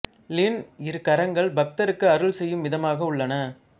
ளின் இரு கரங்கள் பக்தருக்கு அருள் செய்யும் விதமாக உள்ளன